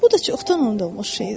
Bu da çoxdan unudulmuş şeydir.